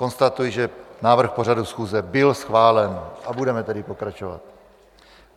Konstatuji, že návrh pořadu schůze byl schválen, a budeme tedy pokračovat.